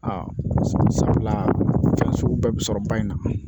Aa sabula sabula fɛn sugu bɛɛ bɛ sɔrɔ ba in na